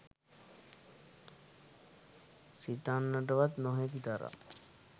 සිතන්නටවත් නොහැකි තරම්